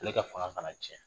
Ale ka fanga kana tiɲɛ